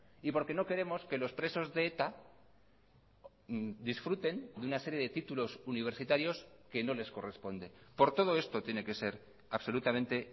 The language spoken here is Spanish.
y porque no queremos que los presos de eta disfruten de una serie de títulos universitarios que no les corresponde por todo esto tiene que ser absolutamente